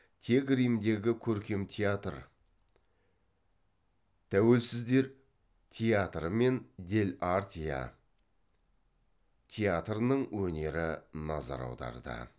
тек римдегі көркем театр тәуелсіздер театры мен дель артетеа театрының өнері назар аударды